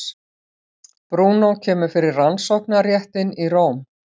Brúnó kemur fyrir Rannsóknarréttinn í Róm.